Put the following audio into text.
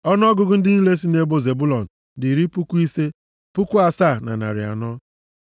Ọnụọgụgụ ndị niile sị nʼebo Zebụlọn dị iri puku ise, puku asaa na narị anọ (57,400).